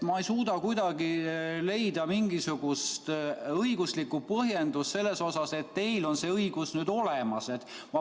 Ma ei suuda kuidagi leida mingisugust õiguslikku põhjendust selle kohta, et teil on see õigus olemas.